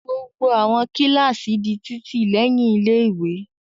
Gbogbo àwọn kíláàsì di títì lẹ́yìn ilé-ìwé.